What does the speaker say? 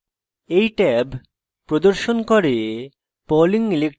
এই ট্যাব প্রদর্শন করে